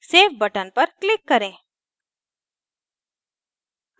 save button पर click करें